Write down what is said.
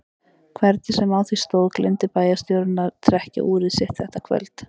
Hvernig sem á því stóð gleymdi bæjarstjórinn að trekkja úrið sitt þetta kvöld.